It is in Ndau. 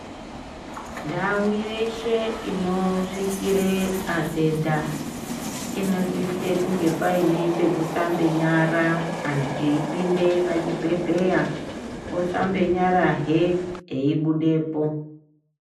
Ndau yeshe inosvikira atenda inosise kunge paine pekusamba nyara antu eipinda pachibhendhleya. Osamba nyara hee eibudepo